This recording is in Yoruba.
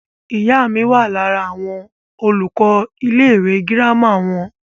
ìyá mi wà lára àwọn olùkọ́ ilé ìwé girama wọn